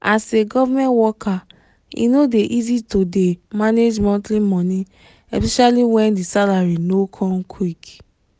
as a government worker e no dey easy to dey manage monthly money especially when the salary no come quick.